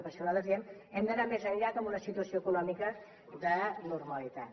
i per això nosaltres diem hem d’anar més enllà que en una situació econòmica de normalitat